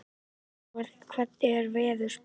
Ingmar, hvernig er veðurspáin?